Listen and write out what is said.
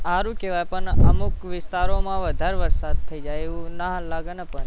હારું કહેવાય પણ અમુક વિસ્તારોમા વધારે વરસાદ થઇ જાય એવું ના લાગે ને પણ